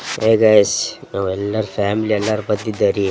Hi guys ನಾವೆಲ್ಲರ್ family ಎಲ್ಲರ್ ಬಂದಿದ್ದಾರ್ ರೀ.